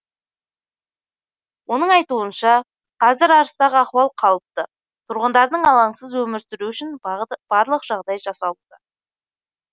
оның айтуынша қазір арыстағы ахуал қалыпты тұрғындардың алаңсыз өмір сүруі үшін барлық жағдай жасалуда